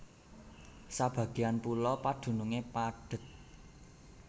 Sebagéyan pulo padunungé padhet